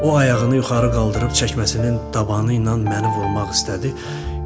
O ayağını yuxarı qaldırıb çəkməsinin dabanı ilə məni vurmaq istədi.